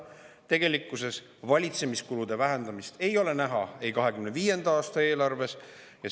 Tegelikkuses ei ole valitsemiskulude vähendamist 2025. aasta eelarves näha.